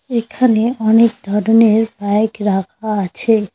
এখানে অনেক ধরনের বাইক রাখা আছে।